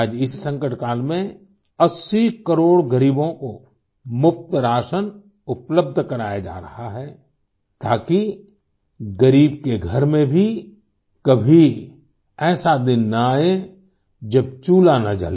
आज इस संकट काल में 80 करोड़ ग़रीबों को मुफ़्त राशन उपलब्ध कराया जा रहा है ताकि ग़रीब के घर में भी कभी ऐसा दिन न आए जब चूल्हा न जले